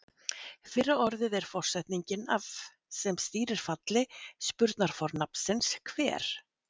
Fyrra orðið er forsetningin af sem stýrir falli spurnarfornafnsins hver.